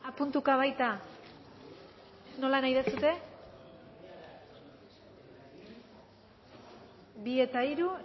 puntuka baita nola nahi duzue bi eta hiru